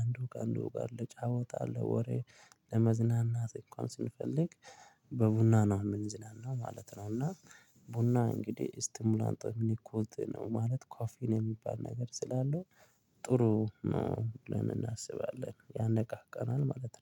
አንድ ወጋ አንድ ወጋ ለጫወታ አለ ወሬ ለመዝናናት እንኳን ስንፈልግ በቡና ነው የምንዝናናው ማለት ነው። እና ቡና እንግዲህ እስቲሙላንት ምን ይኮልት ነው ማለት ኮፊን የሚባል ነገር ስላለው ጥሩ ነው ለምን እናስባለን ያነቃቃናል ማለት ነው